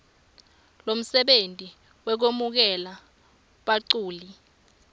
lomsebenti wekwemukela baculi